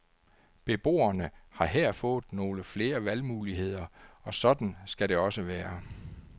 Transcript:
Beboerne har her fået nogle flere valgmuligheder, og sådan skal det også være.